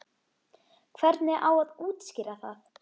Hvernig á að útskýra það?